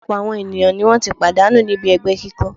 Ọ̀̀pọ̀lọpọ̀ àwọn ènìyàn ni wọ́n ti pàdánù níbi ẹgbẹ́ kíkó